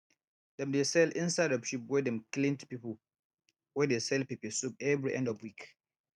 dem dey sell inside of sheep wey dem clean to pipu wey dey sell peppersoup every end of week